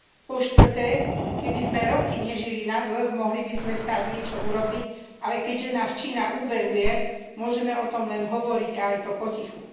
Po štvrté, keby sme roky nežili na dlh, mohli by sme snáď niečo urobiť, ale keďže nás Čína úveruje, môžeme o tom len hovoriť, a aj to potichu.